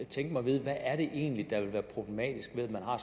tænke mig at vide hvad er det egentlig der ville være problematisk ved at man har